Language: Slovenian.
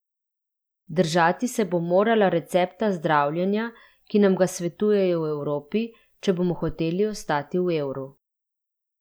Držati se bo morala recepta zdravljenja, ki nam ga svetujejo v Evropi, če bomo hoteli ostati v evru.